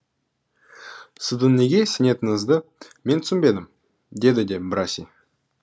сіздің неге сенетініңізді мен түсінбедім деді де браси